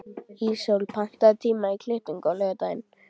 Ísól, pantaðu tíma í klippingu á laugardaginn.